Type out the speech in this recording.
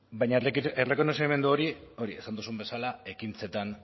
baina errekonozimendu hori esan duzun bezala ekintzetan